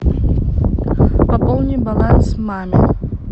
пополни баланс маме